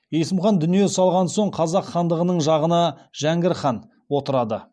есім хан дүние салған соң қазақ хандығының тағына жәңгір хан отырды